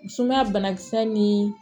Sumaya bana kisɛ ni